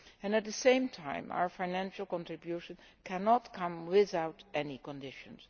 At the same time, our financial contribution must not come without any conditions.